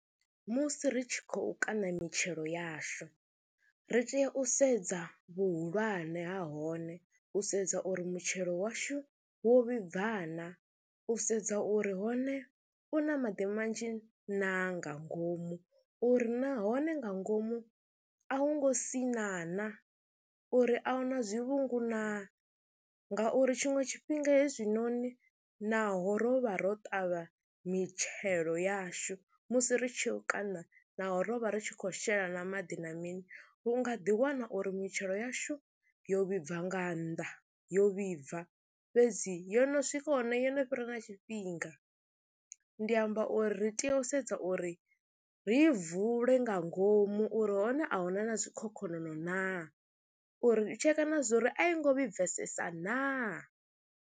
Musi ri tshi khou kaṋa mitshelo yashu ri tea u sedza vhuhulwane ha hone, u sedza uri mutshelo washu wo vhibva na, u sedza uri hone u na maḓi manzhi na nga ngomu uri nahone nga ngomu a hu ngo sina na, uri a hu na zwivhungu naa ngauri tshiṅwe tshifhinga hezwinoni naho ro vha ro ṱavha mitshelo yashu musi ri tshi u kaṋa naho ro vha ri tshi khou shela na maḓi na mini, u nga ḓiwana uri mitshelo yashu yo vhibva nga nnḓa yo vhibva fhedzi yo no swika hone yo no fhira na tshifhinga. Ndi amba uri ri tea u sedza uri ri vule nga ngomu uri hone a hu na na zwikhokhonono naa, uri u tsheka na zwo ri a i ngo vhibvesesesa naa.